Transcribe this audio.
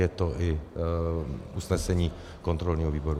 Je to i usnesení kontrolního výboru.